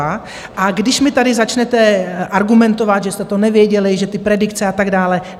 A když mi tady začnete argumentovat, že jste to nevěděli, že ty predikce a tak dále...